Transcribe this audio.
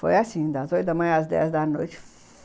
Foi assim, das oito da manhã às dez da noite.